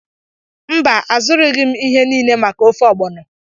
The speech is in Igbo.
Mba, azụrụghị m ihe niile maka ofe ogbono.